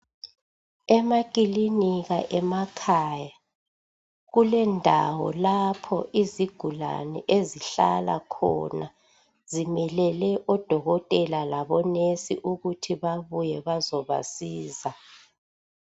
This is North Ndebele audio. Emakilinika emakhaya kulendawo lapho izigulane ezihlala khona zimelele odokotela labonesi ukuthi babuye bazobasiza.